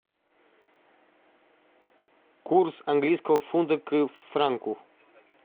курс английского фунта к франку